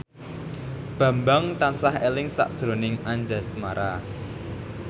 Bambang tansah eling sakjroning Anjasmara